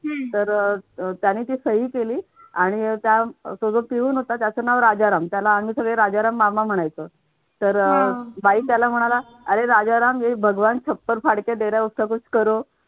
तर अह त्याने ती सही केली आणि त्या आणि त्या तो जो पिऊन होता त्याचं नाव राजाराम आम्ही सगळे राजाराम मामा म्हणायचं तर बाई त्याला म्हणाला अरे राजाराम